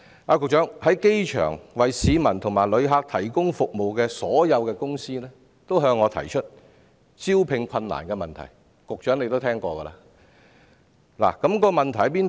所有在機場為市民和旅客提供服務的公司均向我提出招聘困難的問題，局長或許有所聽聞。